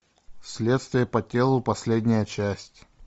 следствие по телу последняя часть